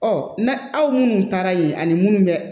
Ɔ na aw minnu taara yen ani minnu bɛ